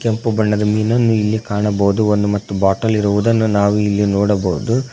ಕಪ್ಪು ಬಣ್ಣದ ಮೀನನ್ನು ಇಲ್ಲಿ ಕಾಣಬಹುದು ಒಂದು ಮತ್ತು ಬಾಟಲ್ ಇರುವುದನ್ನು ನಾವು ಇಲ್ಲಿ ನೋಡಬಹುದು.